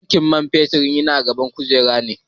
Tankin fetur yana gaban kujera ne.